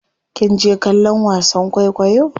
Kinje kallon wasan kwaikwayo?